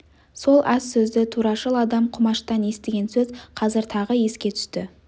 сол аз сөзді турашыл адам құмаштан естіген сөз қазір тағы еске түсті